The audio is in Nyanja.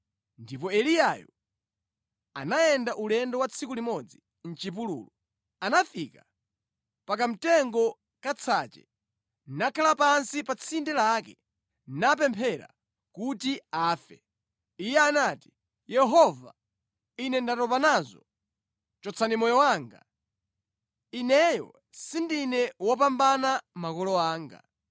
ndipo Eliyayo anayenda ulendo wa tsiku limodzi mʼchipululu. Anafika pa kamtengo ka tsache, nakhala pansi pa tsinde lake napemphera kuti afe. Iye anati, “Yehova, ine ndatopa nazo. Chotsani moyo wanga. Ineyo sindine wopambana makolo anga.”